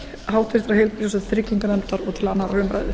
háttvirtrar heilbrigðis og trygginganefndar og til annarrar umræðu